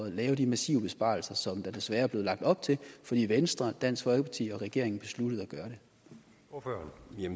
at lave de massive besparelser som der desværre er blevet lagt op til fordi venstre dansk folkeparti og regeringen besluttede at gøre